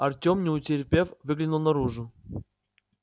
артём не утерпев выглянул наружу